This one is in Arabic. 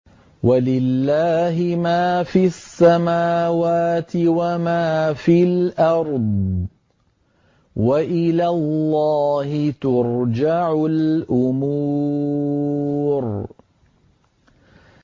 وَلِلَّهِ مَا فِي السَّمَاوَاتِ وَمَا فِي الْأَرْضِ ۚ وَإِلَى اللَّهِ تُرْجَعُ الْأُمُورُ